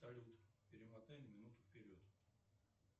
салют перемотай на минуту вперед